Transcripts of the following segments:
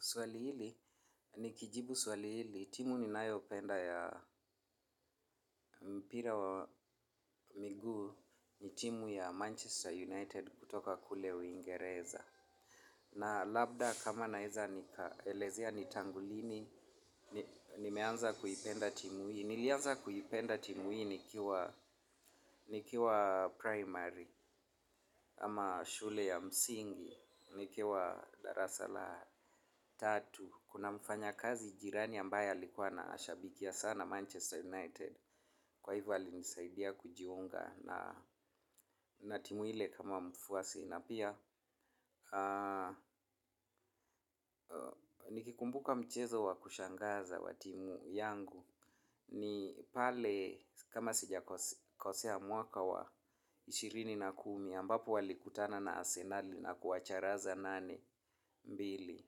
Swali hili, nikijibu swali hili, timu ninayopenda ya mpira wa miguu ni timu ya Manchester United kutoka kule uingereza. Na labda kama naweza nikaelezea ni tangu lini, nimeanza kuipenda timu hii. Nilianza kuipenda timu hii nikiwa 'primary' ama shule ya msingi nikiwa darasa la tatu. Kuna mfanyakazi jirani ambaye alikuwa anashabikia sana Manchester United. Kwa hivyo, alinisaidia kujiunga na timu ile kama mfuasi. Na pia nikikumbuka mchezo wa kushangaza wa timu yangu ni pale kama sijakosea mwaka wa ishirini na kumi ambapo walikutana na Asenali na kuwacharaza nane mbili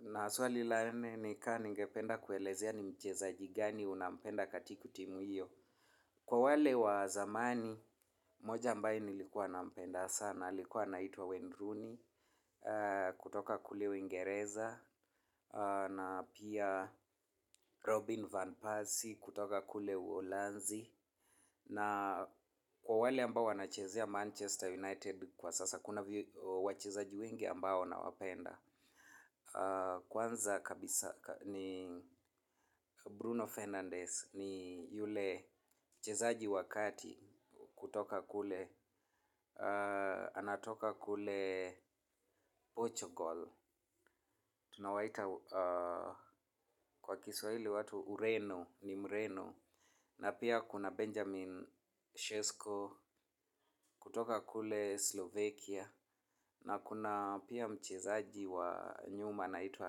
na swali la nne ni ka ningependa kuelezea ni mchezaji gani unampenda katiku timu hiyo. Kwa wale wa zamani mmoja ambae nilikuwa nampenda sana alikuwa anaitwa Wayne Rooney kutoka kule Uingereza Na pia Robin Van Persie kutoka kule Uholanzi Na kwa wale ambao wanachezea Manchester United kwa sasa kuna wachezaji wengi ambao nawapenda. Kwanza kabisa ni Bruno Fernandes ni yule mchezaji wa kati kutoka kule. Anatoka kule Portugal. Tunawaita kwa kiswahili watu Ureno, ni Mreno Na pia kuna Benjamin Sesko kutoka kule Slovakia Na kuna pia mchezaji wa nyuma anaitwa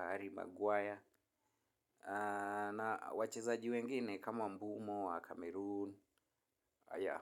Harry Maguire. Na wachezaji wengine kama Mbeumo wa Cameroon, aya.